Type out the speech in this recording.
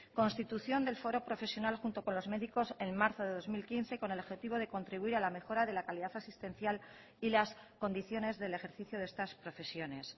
constitución del foro profesional junto con los médicos en marzo de dos mil quince con el objetivo de contribuir a la mejora de la calidad asistencial y las condiciones del ejercicio de estas profesiones